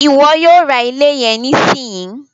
Iwọ yóò rá ilé yẹn nisinyi!